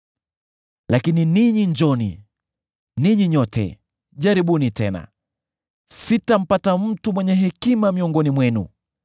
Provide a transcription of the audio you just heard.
“Lakini ninyi njooni, ninyi nyote, jaribuni tena! Sitampata mtu mwenye hekima miongoni mwenu.